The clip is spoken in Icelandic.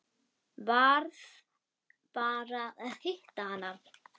Varð bara að hitta hana.